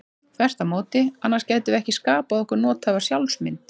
Þvert á móti, annars gætum við ekki skapað okkur nothæfa sjálfsmynd.